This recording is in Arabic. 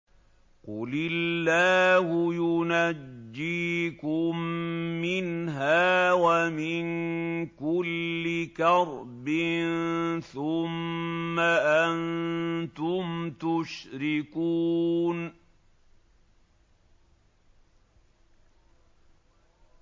قُلِ اللَّهُ يُنَجِّيكُم مِّنْهَا وَمِن كُلِّ كَرْبٍ ثُمَّ أَنتُمْ تُشْرِكُونَ